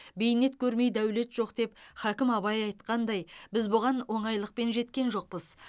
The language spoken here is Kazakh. бейнет көрмей дәулет жоқ деп хакім абай айтқандай біз бұған оңайлықпен жеткен жоқпыз